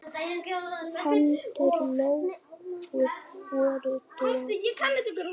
Hendur Lóu voru dofnar.